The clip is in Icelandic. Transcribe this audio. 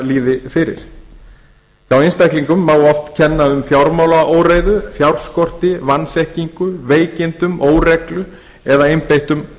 líði fyrir hjá einstaklingum má oft kenna um fjármálaóreiðu fjárskorti vanþekkingu veikindum óreglu eða einbeittum